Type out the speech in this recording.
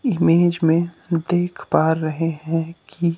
image में देख पा रहे हैं की--